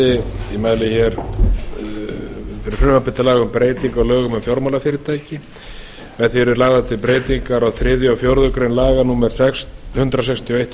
um breytingu á lögum um fjármálafyrirtæki með því eru lagðar til breytingar á þriðja og fjórðu grein laga númer hundrað sextíu og eitt tvö